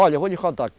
Olha, eu vou lhe contar.